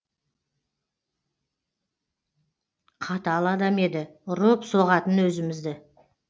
қатал адам еді ұрып соғатын өзімізді